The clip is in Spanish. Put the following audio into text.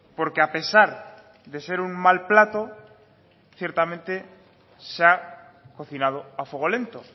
porque a pesar de ser un mal plato ciertamente se ha cocinado a fuego lento